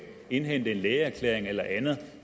indhente en lægeerklæring eller andet